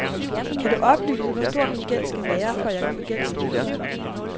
Kan du oplyse, hvor stor min gæld skal være, for at jeg kan få gældssanering?